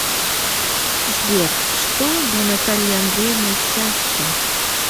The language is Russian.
сбер что для натальи андреевны счастье